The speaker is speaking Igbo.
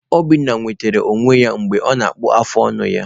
Obinna nwetara ọnya mgbe ọ na-akpụ afụ ọnụ ya.